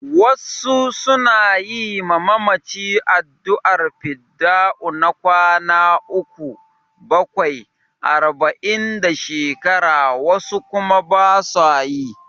Wasu su na yi ma mamaci addu'ar fidda'u na kwana uku, bakwai, arba'in da shekara, wasu kuma ba su yi.